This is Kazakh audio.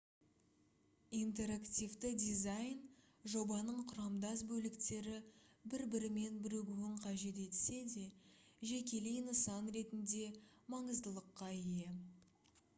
интерактивті дизайн жобаның құрамдас бөліктері бір-бірімен бірігуін қажет етсе де жекелей нысан ретінде маңыздылыққа ие